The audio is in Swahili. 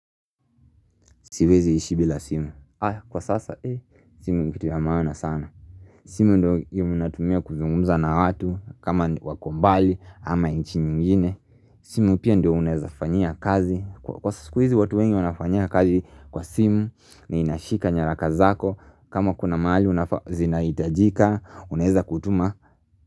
Siwezi ishi bila simu Kwa sasa simu ni kitu ya maana sana simu ndio natumia kuzungumza na watu kama wako mbali ama inchi mwingine simu pia ndio unaeza fanyia kazi Kwa siku hizi watu wengi wanafanyia kazi kwa simu na inashika nyaraka zako kama kuna mahali zinaitajika Unaeza kutuma.